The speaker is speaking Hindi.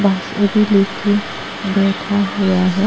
बासुरी लेके अ बैठा हुआ है।